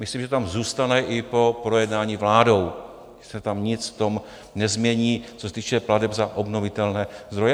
Myslím, že to tam zůstane i po projednání vládou, že se tam nic v tom nezmění, co se týče plateb za obnovitelné zdroje.